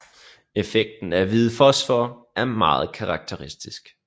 Effekten af hvid fosfor er meget karakteristisk